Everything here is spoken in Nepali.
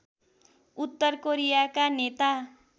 उत्तर कोरियाका नेता